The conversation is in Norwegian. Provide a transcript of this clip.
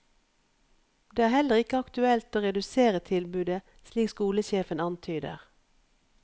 Det er heller ikke aktuelt å redusere tilbudet slik skolesjefen antyder.